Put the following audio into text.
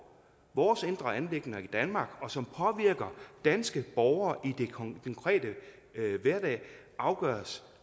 vores indre anliggender i danmark og som påvirker danske borgere i deres konkrete hverdag afgøres